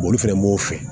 olu fɛnɛ b'o fɛ